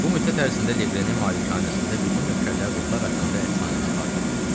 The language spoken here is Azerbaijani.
Bu müddət ərzində Leqrenin malikanəsində bütün nökərlər ruhlar haqqında əfsanəni xatırlayırdılar.